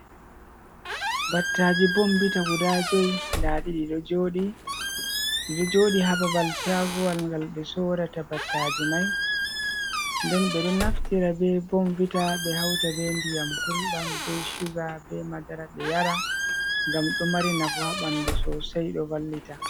Battaji bombita guda joi nda ɗi ɗiɗo joɗi ha babal shagowal ngal ɓe sorata battaji mai. Nden ɓe ɗon naftira be bombita ɓe hauta be ndiyam gulɗam, be suga, be madara ɓe yara ngam ɗo mari nafu haa ɓandu sosai ɗo vallita.